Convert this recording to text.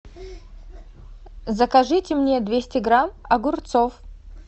закажите мне двести грамм огурцов